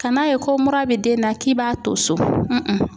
Kan'a ye ko mura bɛ den na k'i b'a to so